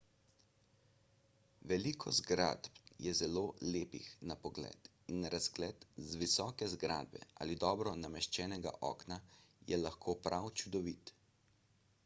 veliko zgradb je zelo lepih na pogled in razgled z visoke zgradbe ali dobro nameščenega okna je lahko prav čudovit